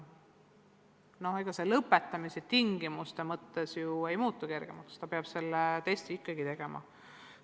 No ega põhikooli lõpetamise tingimused ju kergemaks ei muutu, selle testi peab ikkagi tegema.